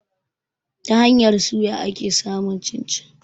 Ta hanyar suya ake samun cin-cin.